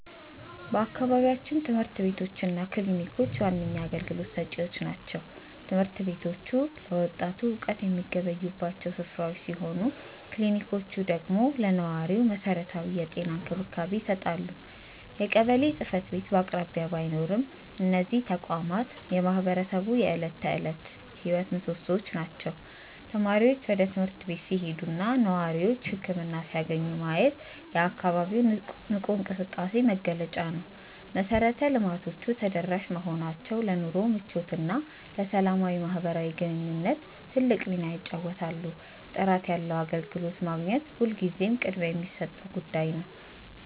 በአካባቢያችን ትምህርት ቤቶች እና ክሊኒኮች ዋነኛ አገልግሎት ሰጪዎች ናቸው። ትምህርት ቤቶቹ ለወጣቱ እውቀት የሚገበዩባቸው ስፍራዎች ሲሆኑ፣ ክሊኒኮቹ ደግሞ ለነዋሪው መሰረታዊ የጤና እንክብካቤ ይሰጣሉ። የቀበሌ ጽሕፈት ቤት በአቅራቢያ ባይኖርም፣ እነዚህ ተቋማት የማህበረሰቡ የዕለት ተዕለት ሕይወት ምሶሶዎች ናቸው። ተማሪዎች ወደ ትምህርት ቤት ሲሄዱና ነዋሪዎች ህክምና ሲያገኙ ማየት የአካባቢው ንቁ እንቅስቃሴ መገለጫ ነው። መሰረተ ልማቶቹ ተደራሽ መሆናቸው ለኑሮ ምቾትና ለሰላማዊ ማህበራዊ ግንኙነት ትልቅ ሚና ይጫወታሉ። ጥራት ያለው አገልግሎት ማግኘት ሁልጊዜም ቅድሚያ የሚሰጠው ጉዳይ ነው።